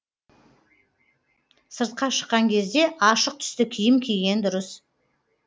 сыртқа шыққан кезде ашық түсті киім киген дұрыс